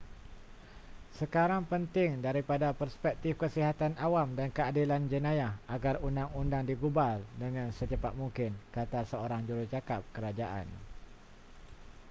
sekarang penting daripada perspektif kesihatan awam dan keadilan jenayah agar undang-undang digubal dengan secepat mungkin kata seorang jurucakap kerajaan